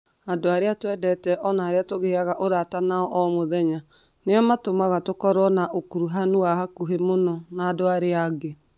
Andũ arĩa twendete na arĩa tũgĩaga ũrata nao o mũthenya, nĩo matũmaga tũkorũo na ũkuruhanu wa hakuhĩ mũno na andũ arĩa angĩ.